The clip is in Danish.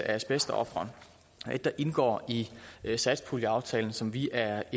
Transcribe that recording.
asbestofre er et der indgår i satspuljeaftalen som vi er